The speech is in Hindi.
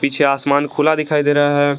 पीछे आसमान खुला दिखाई दे रहा है।